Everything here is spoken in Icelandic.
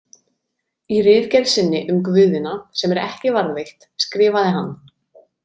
Í ritgerð sinni „Um guðina“, sem er ekki varðveitt, skrifaði hann.